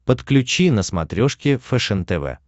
подключи на смотрешке фэшен тв